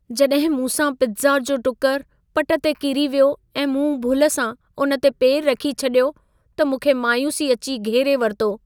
जड॒हिं मूं सां पित्ज़ा जो टुकुर पटु ते किरी वियो ऐं मूं भुल सां उन ते पेर रखी छॾियो त मूंखे मायूसी अची घेरे वरितो।